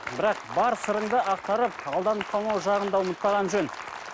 бірақ бар сырыңды ақтарып алданып қалмау жағын да ұмытпаған жөн